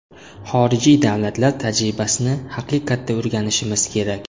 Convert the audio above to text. Xorijiy davlatlar tajribasini haqiqatda o‘rganishimiz kerak.